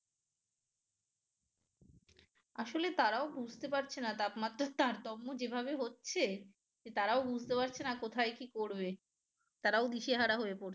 আসলে তারাও বুঝতে পারছে না তাপমাত্রার তারতম্য যেভাবে হচ্ছে যে তারাও বুঝতে পারছে না কোথায় কি করবে তারাও দিশেহারা হয়ে পড়ছে